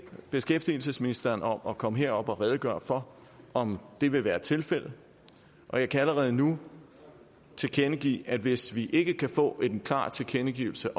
beskæftigelsesministeren om at komme herop og redegøre for om det vil være tilfældet og jeg kan allerede nu tilkendegive at hvis vi ikke kan få en klar tilkendegivelse